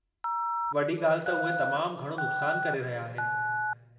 वॾी ॻाल्हि त उहे तमामु घणो नुक्सान करे रहिया आहिनि।